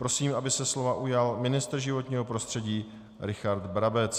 Prosím, aby se slova ujal ministr životního prostředí Richard Brabec.